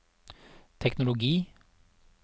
teknologi